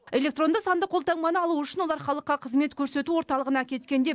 электронды сандық қолтаңбаны алу үшін олар халыққа қызмет көрсету орталығына кеткенде